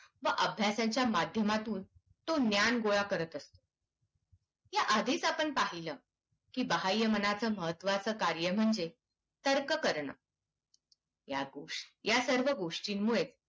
व अभ्यासाच्या माध्यमातून तो ज्ञान गोळा करत असतो. या आधीच आपण पाहिलं, की बाह्यमनाचं महत्त्वाचे कार्य म्हणजे तर्क करणे. या गोया सर्व गोष्टींमुळेच